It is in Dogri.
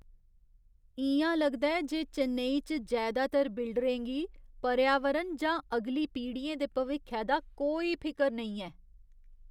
इ'यां लगदा ऐ जे चेन्नई च जैदातर बिल्डरें गी पर्यावरण जां अगली पीढ़ियें दे भविक्खै दा कोई फिकर नेईं ऐ।